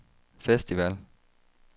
festival